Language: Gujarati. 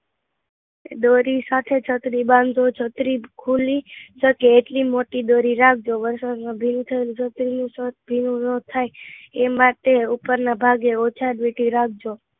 દોરી સાથે છત્રી બાંધો છો છત્રી ખુલે એટલી મોટી રાખજો, વરસાદ માં ભીનું થવાનું જોખમ ભીનું ન થાય એ માટે ઉપર ના ભાગે ઓછા રાખજો